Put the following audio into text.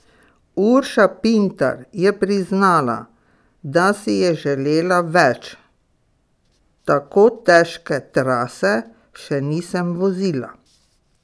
Urša Pintar je priznala, da si je želela več: "Tako težke trase še nisem vozila.